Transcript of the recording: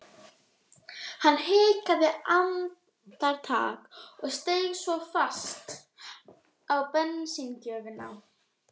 Hann hikaði andartak en steig svo fast á bensíngjöfina.